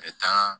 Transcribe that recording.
A bɛ taa